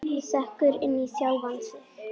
Sekkur inn í sjálfan sig.